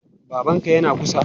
Babanka yana kusa?